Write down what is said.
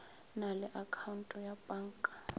na le akhaonte ya panka